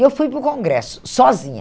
E eu fui para o congresso, sozinha.